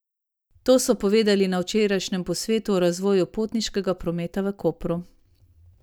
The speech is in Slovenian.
To so povedali na včerajšnjem posvetu o razvoju potniškega prometa v Kopru.